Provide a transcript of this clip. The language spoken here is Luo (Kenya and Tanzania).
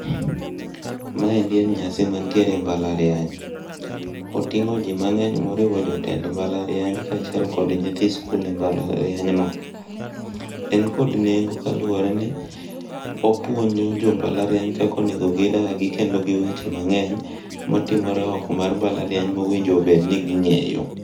Maendi en nyasi mantiere e mbalariany, oting'o ji mang'eny moriwo jotend mbalariany kaachiel kod nyithi sikul e ,mbalariany no. En kod nengo kaluwore ni opuonjo jo mbalariany kaka onego gidagi kod weche mang'eny motimore oko mar mbalariany mowinjo bed ni ging'eyo.